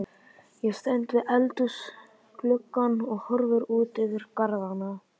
Ég stend við eldhúsgluggann og horfi út yfir garðana.